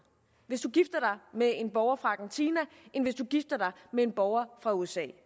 hvis du gifter med en borger fra argentina end hvis du gifter dig med en borger fra usa